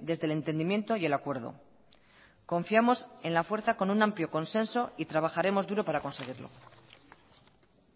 desde el entendimiento y el acuerdo confiamos en la fuerza con un amplio consenso y trabajaremos duro para conseguirlo